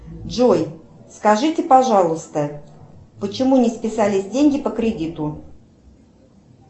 джой скажите пожалуйста почему не списались деньги по кредиту